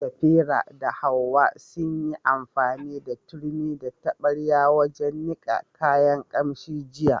Safira da Hawwa sun yi amfani da turmi da taɓarya wajen niƙa kayan ƙamshi jiya.